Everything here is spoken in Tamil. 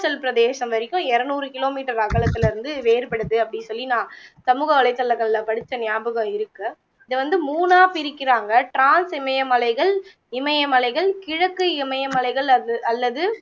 ணாச்சல் பிரதேசம் வரைக்கும் இருநூற kilometer அகலத்திலே இருந்து வேறுபடுது அப்படி சொல்லி நான் சமூகவலைத்தளங்கள்ல படிச்ச நியாபகம் இருக்கு இதை வந்து மூனா பிரிக்கிறாங்க trans இமயமலைகள், இமயமலைகள், கிழக்கு இமயமலைகள் அது அல்லது